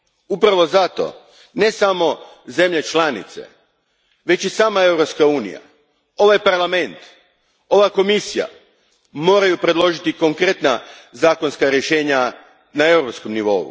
Upravo zato ne samo zemlje članice, već i sama Europska unija, ovaj Parlament, ova Komisija moraju predložiti konkretna zakonska rješenja na europskoj razini.